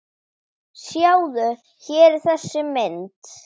Sjáðu, hér er þessi mynd.